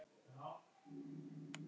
Myndin var fengin á slóðinni